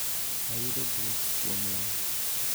ayudo bwok kuom lal